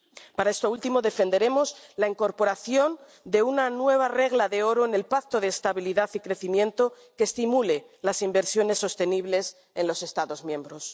Para esto último defenderemos la incorporación de una nueva regla de oro en el Pacto de Estabilidad y Crecimiento que estimule las inversiones sostenibles en los Estados miembros.